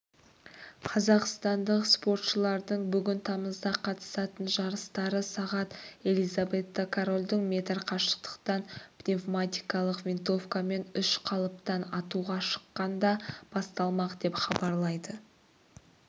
қазақстандық спортшылардың бүгін тамызда қатысатын жарыстары сағат елизавета корольдің метр қашықтықтан пневматикалық винтовкамен үш қалыптан атуға шыққанда басталмақ деп хабарлайды